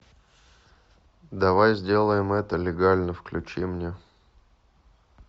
давай сделаем это легально включи мне